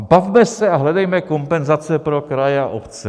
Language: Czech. A bavme se a hledejme kompenzace pro kraje a obce.